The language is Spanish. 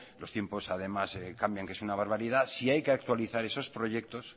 los tiempos además cambian que es una barbaridad si hay que actualizar esos proyectos